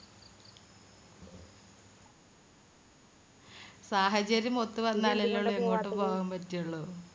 സാഹചര്യമൊത്ത് വന്നാലല്ലേ എങ്ങോട്ട് പോകാൻ പറ്റുള്ളൂ